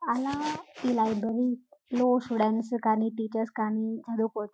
అలా ఈ లైబ్రరీలో స్టూడెంట్స్ కానీ టీచర్స్ కానీ చదువుకోవచ్చు